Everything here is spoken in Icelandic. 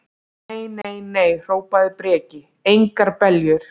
Nei, nei, nei, hrópaði Breki, engar beljur.